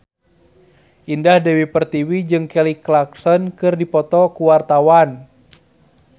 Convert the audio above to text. Indah Dewi Pertiwi jeung Kelly Clarkson keur dipoto ku wartawan